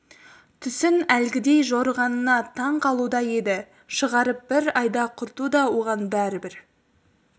түсін әлгідей жорығанына таң қалуда еді шығарып бір айда құрту да оған бәрібір